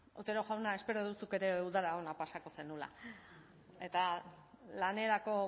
otero jauna espero dut zuk ere udara ona pasako zenuela eta lanerako